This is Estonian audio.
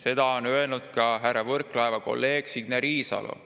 Seda on öelnud ka härra Võrklaeva kolleeg Signe Riisalo.